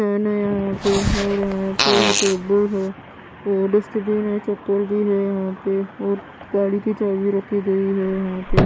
है न यहाँ पे और यहाँ पे टेबल है और डस्टबिन है चप्पल भी है यहाँ पे और गाड़ी की चाबी रखी गई है यहाँ पे।